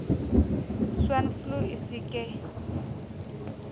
swine flu e se ke